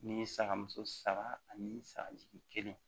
Ni saga muso saba ani saga jigin